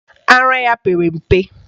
Ara ya pere mpe.